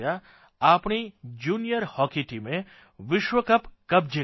આપણી junior hockey ટીમે વિશ્વકપ કબ્જે કર્યો